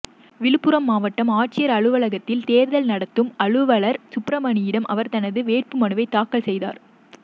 விழுப்புரம் மாவட்ட ஆட்சியர் அலுவலகத்தில் தேர்தல் நடத்தும் அலுவலர் சுப்பிரமணியனிடம் அவர் தனது வேட்புமனுவை தாக்கல் செய்தார்